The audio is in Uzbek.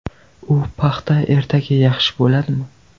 U paxta ertaga yaxshi bo‘ladimi?